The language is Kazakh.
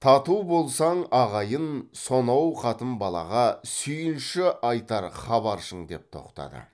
тату болсаң ағайын сонау қатын балаға сүйінші айтар хабаршың деп тоқтады